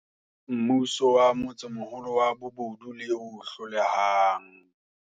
Mmuso wa motsemoholo wa bobodu le o hlolehang.